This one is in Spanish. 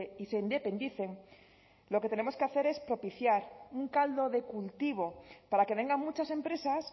y se independicen lo que tenemos que hacer es propiciar un caldo de cultivo para que vengan muchas empresas